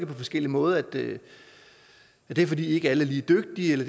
på forskellig måde at det er fordi alle ikke er lige dygtige eller